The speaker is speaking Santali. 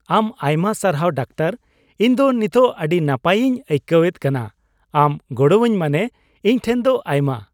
ᱟᱢ ᱟᱭᱢᱟ ᱥᱟᱨᱦᱟᱣ ᱰᱟᱠᱛᱚᱨ ! ᱤᱧ ᱫᱚ ᱱᱤᱛᱚᱜ ᱟᱹᱰᱤ ᱱᱟᱯᱟᱭᱤᱧ ᱟᱹᱭᱠᱟᱹᱣᱮᱫ ᱠᱟᱱᱟ ᱾ ᱟᱢ ᱜᱚᱲᱚᱣᱟᱹᱧ ᱢᱟᱱᱮ ᱤᱧ ᱴᱷᱮᱱ ᱫᱚ ᱟᱭᱢᱟ ᱾